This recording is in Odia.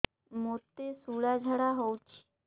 ମୋତେ ଶୂଳା ଝାଡ଼ା ହଉଚି